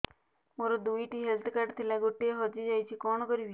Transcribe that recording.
ମୋର ଦୁଇଟି health card ଥିଲା ଗୋଟିଏ ହଜି ଯାଇଛି କଣ କରିବି